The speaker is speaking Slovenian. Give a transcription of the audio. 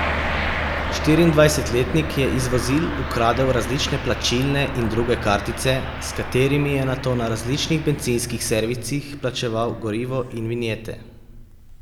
Štiriindvajsetletnik je iz vozil ukradel različne plačilne in druge kartice, s katerimi je nato na različnih bencinskih servisih plačeval gorivo in vinjete.